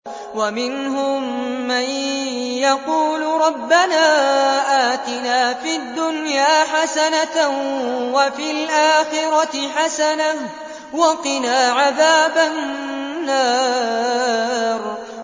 وَمِنْهُم مَّن يَقُولُ رَبَّنَا آتِنَا فِي الدُّنْيَا حَسَنَةً وَفِي الْآخِرَةِ حَسَنَةً وَقِنَا عَذَابَ النَّارِ